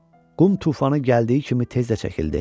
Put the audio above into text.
Qum tufanı gəldiyi kimi tez də çəkildi.